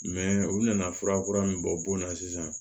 u nana fura kura min bɔ bon na sisan